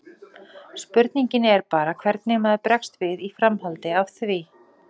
Spurningin er bara hvernig maður bregst við í framhaldi af því.